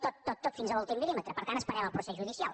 tot tot tot fins a l’últim miltant esperem el procés judicial